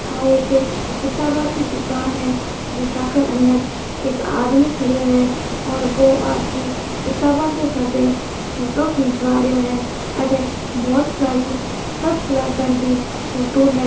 य एक किताबो की दुकान है जहा अंदर एक आदमी खड़े हुये है और वो आपकी किताबो के सागे फोटो खिचवा रहियो है अथे बहुत साड़ी सब क्लास की फोटो है।